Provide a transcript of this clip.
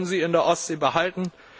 Wir wollen sie in der Ostsee behalten!